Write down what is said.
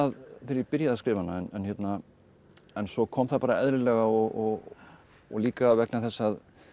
þegar ég byrjaði að skrifa hana en svo kom það bara eðlilega og og líka vegna þess að